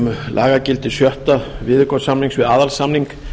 um lagagildi sjötta viðaukasamnings við aðalsamning